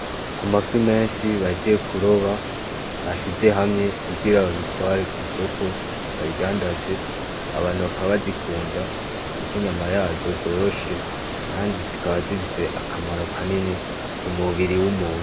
Amafi menshi bahejeje kuroba bashize hamwe kugira babitware kw'isoko babidadandaze, abantu bakaba bazikunda kuko inyama yazo zoroshe kandi zikaba zifise akamaro kanini k'umubiri w'umuntu.